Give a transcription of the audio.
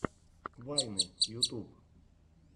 вайны ютуб